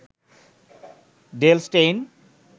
Dale Steyn